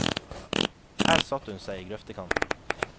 Her satte hun seg i grøftekanten.